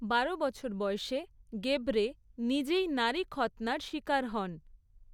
বারো বছর বয়সে গেব্রে নিজেই নারী খৎনার শিকার হন।